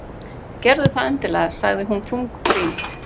Gerðu það endilega- sagði hún þungbrýnd.